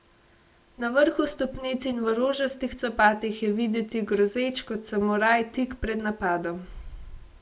Na vrhu stopnic in v rožastih copatih je videti grozeč kot samuraj tik pred napadom.